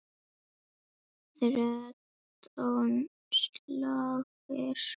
Þrettán slagir.